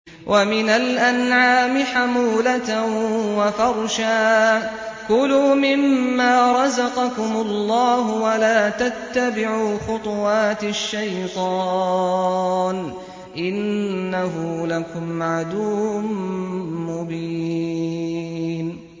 وَمِنَ الْأَنْعَامِ حَمُولَةً وَفَرْشًا ۚ كُلُوا مِمَّا رَزَقَكُمُ اللَّهُ وَلَا تَتَّبِعُوا خُطُوَاتِ الشَّيْطَانِ ۚ إِنَّهُ لَكُمْ عَدُوٌّ مُّبِينٌ